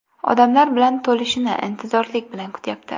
Odamlar bilan to‘lishini intizorlik bilan kutyapti.